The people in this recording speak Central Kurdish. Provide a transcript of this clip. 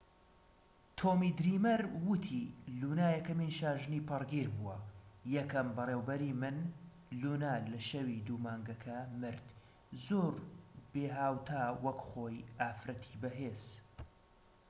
تۆمی دریمەر ووتی لونا یەکەمین شاژنی پەڕگیر بووە یەکەم بەڕێوەبەری من لونا لە شەوی دوو مانگەکە مرد زۆر بێھاوتا وەک خۆی ئافرەتی بەهێز